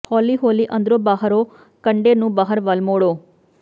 ਹੌਲੀ ਹੌਲੀ ਅੰਦਰੋਂ ਬਾਹਰੋਂ ਕੰਡੇ ਨੂੰ ਬਾਹਰ ਵੱਲ ਮੋੜੋ